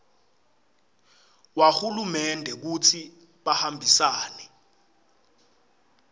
wahulumende kutsi bahambisane